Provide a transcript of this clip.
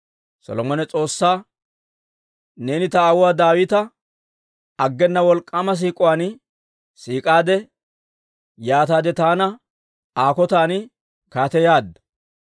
Solomone S'oossaa, «Neeni ta aawuwaa Daawita aggena wolk'k'aama siik'uwaan siik'aade; yaataade taana Aa kotan kaateyaadda.